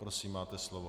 Prosím, máte slovo.